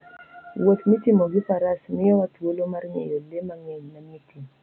Wuoth mitimo gi Faras miyowa thuolo mar ng'eyo le mang'eny manie thim.